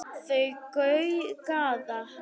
Þau gæða sér á